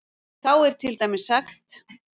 Þá er til dæmis sagt